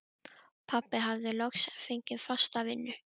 Pabbi hafði loks fengið fasta vinnu.